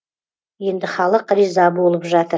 енді халық риза болып жатыр